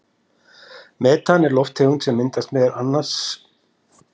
Metan er lofttegund sem meðal annars myndast á urðunarstöðum sorps við niðurbrot á lífrænum úrgangi.